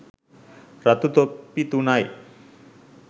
රතු තොප්පි තුනයි